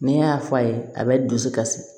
Ni y'a fɔ a ye a bɛ dusu kasi